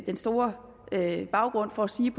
den store baggrund for at sige